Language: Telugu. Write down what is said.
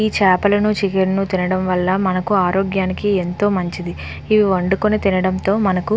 ఈ చాపాలను చికెన్ ను తినడం వాళ్ళ మనకు ఆరోగ్యానికి ఎంతో మంచిది ఇవి వండుకొని తినడంతో మనకు.